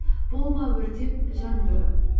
болма өртеп жандырып